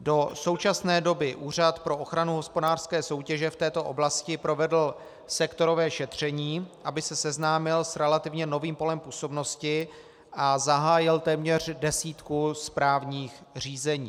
Do současné doby Úřad pro ochranu hospodářské soutěže v této oblasti provedl sektorové šetření, aby se seznámil s relativně novým polem působnosti, a zahájil téměř desítku správních řízení.